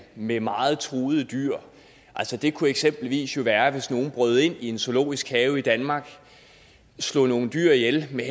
med meget truede dyr det kunne eksempelvis være hvis nogen brød ind i en zoologisk have i danmark og slog nogle dyr ihjel med